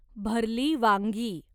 भरली वांगी